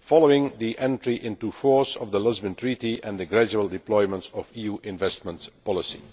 following the entry into force of the Lisbon Treaty and the gradual deployment of EU investment policy.